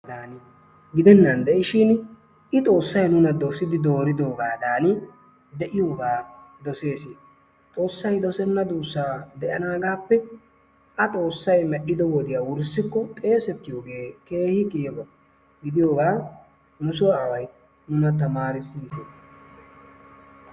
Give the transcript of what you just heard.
gidennan de'ishin i xoosay nuna dosidi dooridogadan de'iyoogaa dosees. xoosay dosenna duusaa de'anaagaappe a xoosay medhido wodiya wurssiko xeesettiyoogee keehi lo'iyaba gidiyoogaa nu soo away nuna tamaarisiisi.